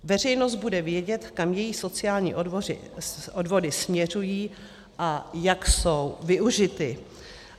Veřejnost bude vědět, kam její sociální odvody směřují a jak jsou využity.